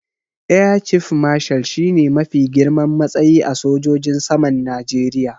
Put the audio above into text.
Air Chief Marshal shi ne mafi girman matsayi a sojojin saman Najeriya.